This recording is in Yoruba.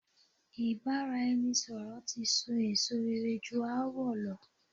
Ìbáraẹnisọ̀rọ̀ ti so èso rere ju aáwọ̀ lọ.